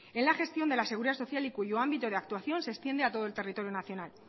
en la gestión de la seguridad social y cuyo ámbito de actuación se extiende a todo el territorio nacional